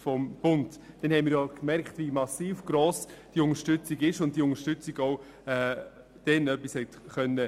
Damals haben wir ja gemerkt, wie riesengross die Unterstützung war und was sie bewirken konnte.